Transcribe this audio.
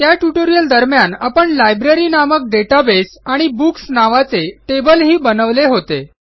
त्या ट्युटोरियल दरम्यान आपण लायब्ररी नामक डेटाबेस आणि बुक्स नावाचे टेबल ही बनवले होते